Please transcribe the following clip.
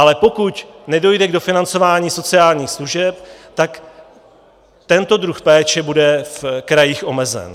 Ale pokud nedojde k dofinancování sociálních služeb, tak tento druh péče bude v krajích omezen.